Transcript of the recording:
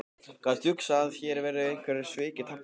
Gat hugsast að hér væru einhver svik í tafli?